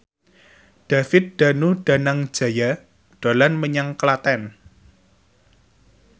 David Danu Danangjaya dolan menyang Klaten